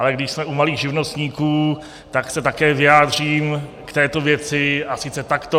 Ale když jsme u malých živnostníků, tak se také vyjádřím k této věci, a sice takto.